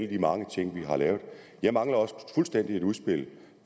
de mange ting vi har lavet jeg mangler også fuldstændig et udspil